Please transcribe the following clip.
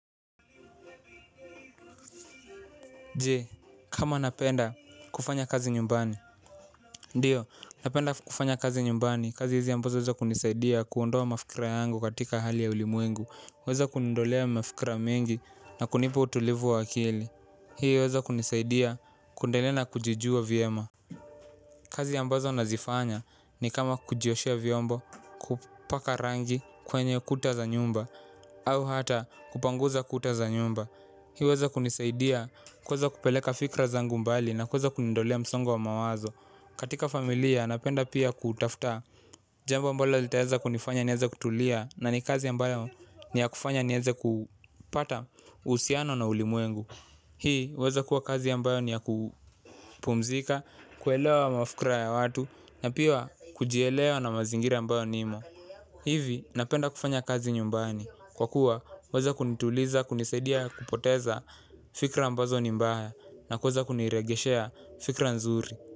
Jee, kama napenda kufanya kazi nyumbani. Ndiyo, napenda kufanya kazi nyumbani. Kazi hizi ambazo weza kunisaidia kuondoa mafikira yangu katika hali ya ulimwengu huweza kuniondolea mafikira mengi na kunipa utulivu wa akili. Hii huweza kunisaidia kuendelea na kujijua vyema. Kazi ambazo nazifanya ni kama kujioshea vyombo. Kupaka rangi kwenye kuta za nyumba au hata kupanguza kuta za nyumba. Hii huweza kunisaidia kuweza kupeleka fikra zangu mbali na kuweza kuniondolea msongo wa mawazo. Katika familia napenda pia kutaftaa. Jambo ambalo litaeza kunifanya nieze kutulia na ni kazi ya mbalo ni ya kufanya nieze kupata usiano na ulimuengu. Hii huweza kuwa kazi ambayo ni ya kupumzika, kuelewa mafikra ya watu na pia kujielewa na mazingira ambayo nimo. Hivi napenda kufanya kazi nyumbani. Kwa kuwa huweza kunituliza kunisaidia kupoteza fikra ambazo ni mbaya na kuweza kunirejeshea fikra nzuri.